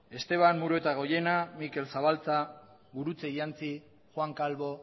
esteban muruetagoiena mikel zabaltza gurutze iantzi juan calvo